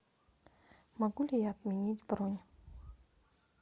могу ли я отменить бронь